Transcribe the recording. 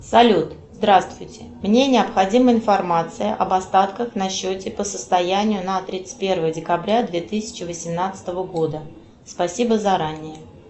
салют здравствуйте мне необходима информация об остатках на счете по состоянию на тридцать первое декабря две тысячи восемнадцатого года спасибо заранее